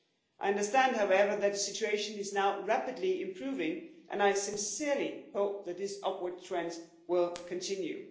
I understand, however, that the situation is now rapidly improving and I sincerely hope that this upward trend will continue.